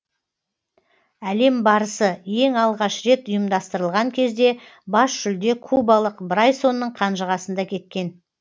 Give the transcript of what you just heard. әлем барысы ең алғаш рет ұйымдастырылған кезде бас жүлде кубалық брайсонның қанжығасында кеткен